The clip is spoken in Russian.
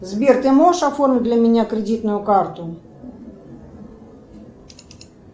сбер ты можешь оформить для меня кредитную карту